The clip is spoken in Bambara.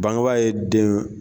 Bangebaa ye den